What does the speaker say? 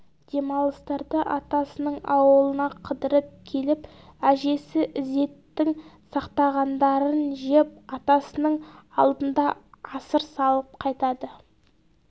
демалыстарда атасының ауылына қыдырып келіп әжесі ізеттің сақтағандарын жеп атасының алдында асыр салып қайтады